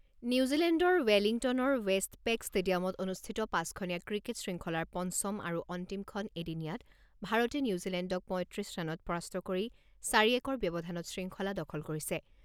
নিউজিলেণ্ডৰ ৱেলিংটনৰ ৱেষ্টপেক ষ্টেডিয়ামত অনুষ্ঠিত পাঁচখনীয়া ক্ৰিকেট শৃংখলাৰ পঞ্চম আৰু অন্তিমখন এদিনীয়াত ভাৰতে নিউজিলেণ্ডক পঁইত্ৰিছ ৰানত পৰাস্ত কৰি চাৰি একৰ ব্যৱধানত শৃংখলা দখল কৰিছে।